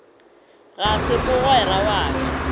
ga se mogwera wa ka